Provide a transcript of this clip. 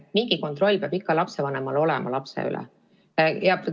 Mingi kontroll peab lapsevanemal ikka lapse üle olema.